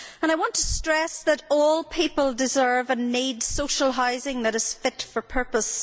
I want to stress that all people deserve and need social housing that is fit for purpose.